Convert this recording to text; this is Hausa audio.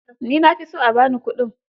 Ni na fi so a ba ni kuɗin.